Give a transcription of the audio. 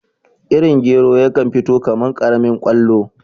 Irin gero yakan fito kaman karamin kwallo